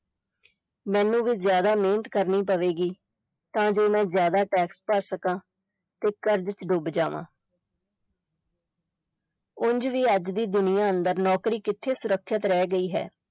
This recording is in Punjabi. ਮੈਨੂ ਵੀ ਜਿਆਦਾ ਮਿਹਨਤ ਕਰਨੀ ਪਵੇਗੀ ਤਾਂ ਜੋ ਮੈਂ ਜਿਆਦਾ tax ਭਰ ਸਕਾਂ ਤੇ ਕਰਜ਼ ਚ ਡੁੱਬ ਜਾਵਾਂ ਉੰਞ ਵੀ ਅੱਜ ਦੀ ਦੁਨੀਆ ਅੰਦਰ ਨੋਕਰੀ ਕਿੱਥੇ ਸੁਰੱਖਿਅਤ ਰਹਿ ਗਈ ਹੈ।